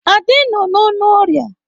Ade nọ n'ọnụ ọrịa.